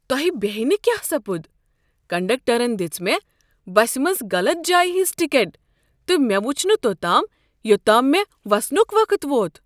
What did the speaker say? تۄہہ بیہیہ نہٕ کیٛاہ سپُد! کنڈکٹرن دژ مےٚ بسہ منز غلط جایہ ہٕنز ٹکٹ، تہٕ مےٚ وُچھ نہٕ توٚتام یوٚتام مےٚ وسنک وقت ووت۔